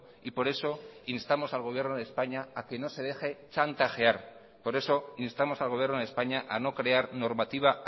y por eso instamos al gobierno de españa a que no se deje chantajear por eso instamos al gobierno de españa a no crear normativa